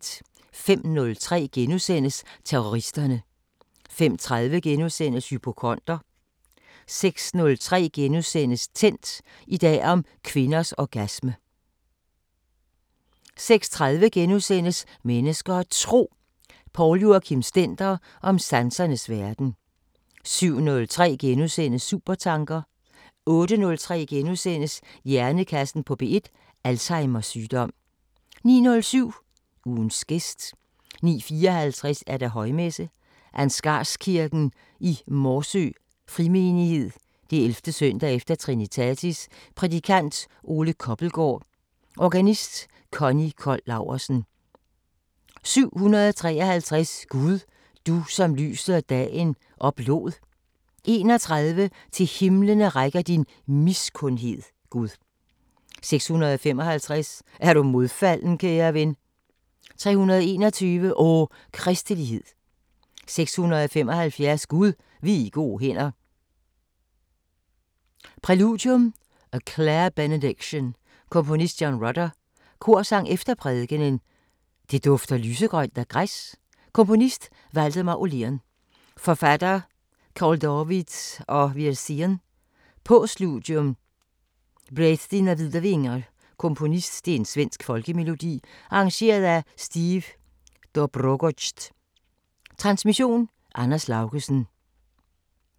05:03: Terroristerne * 05:30: Hypokonder * 06:03: Tændt: I dag om kvinders orgasme * 06:30: Mennesker og Tro: Poul Joachim Stender om sansernes verden * 07:03: Supertanker * 08:03: Hjernekassen på P1: Alzheimers sygdom * 09:07: Ugens gæst 09:54: Højmesse - Ansgarskirken i Morsø Frimenighed. 11. søndag i trinitatis. Prædikant: Ole Kobbelgaard. Organist: Conny Cold Laursen. 753: "Gud, du som lyset og dagen oplod" 31: "Til himlene rækker din miskundhed, Gud" 655: "Er du modfalden, kære ven" 321: "O Kristelighed" 675: "Gud, vi er i gode hænder" Præludium: A Clare Benediction. Komponist: John Rutter. Korsang efter prædikenen: "Det dufter lysegrønt af græs" Komponist: Waldemar Åhlén. Forfatter: Carl David af Wirsén. Postludium: Bred dina vida vingar. Komponist: Svensk folkemelodi. Arrangør: Steve Dobrogosz. Transmission: Anders Laugesen. 11:05: Slotsholmen * 12:15: Søndagsfrokosten